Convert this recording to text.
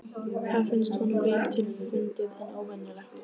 Það finnst honum vel til fundið en óvenjulegt.